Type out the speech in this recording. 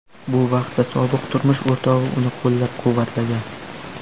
Bu vaqtda sobiq turmush o‘rtog‘i uni qo‘llab-quvvatlagan.